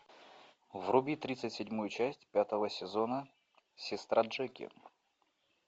вруби тридцать седьмую часть пятого сезона сестра джеки